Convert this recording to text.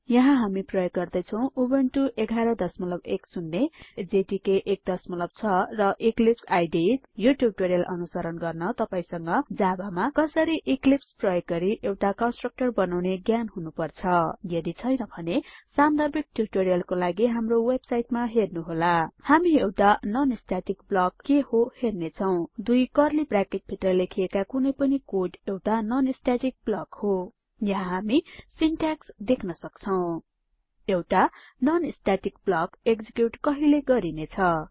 यहाँ हामी प्रयोग गर्दैछौं उबुन्टु संस्करण 1110 जावा डेभलपमेन्ट एन्भाइरनमेन्ट जेडीके 16 र इक्लिप्स आईडीई 370 यो ट्युटोरियल अनुसरण गर्न तपाइँसंग कसरी जावा मा इक्लिप्स प्रयोग गरि एउटाconstructor बनाउने ज्ञान हुनुपर्छ यदि छैन भने सान्दर्भिक ट्युटोरियलको लागि हाम्रो वेबसाइटमा हेर्नुहोला httpwwwspoken tutorialओर्ग अब हामी एउटाnon static ब्लक के हो हेर्नेछौं दुई कर्ली ब्राकेट भित्र लेखिएका कुनैपनि कोड एउटाnon static blockहो यहाँ हामी सिनट्याक्स देख्न सक्छौं एउटा non स्टेटिक ब्लक एक्जिक्युट कहिले गरिनेछ